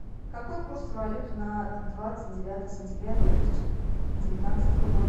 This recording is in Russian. какой курс валюты на двадцать девятое сентября две тысячи девятнадцатого года